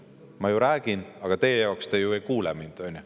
Ma räägin, aga teie ju ei kuula mind.